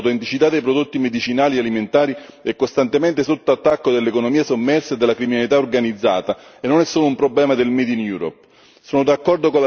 Ad opportuno esempio l'autenticità dei prodotti medicinali e alimentari è costantemente sotto attacco dell'economia sommersa e della criminalità organizzata, e non è solo un problema del made in Europe.